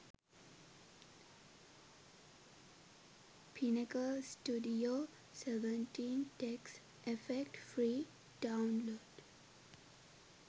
pinnacle studio 17 text effect free download